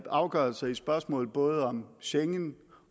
afgørelser i spørgsmål både om schengen